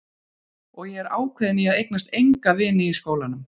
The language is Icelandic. Og ég er ákveðin í að eignast enga vini í skólanum.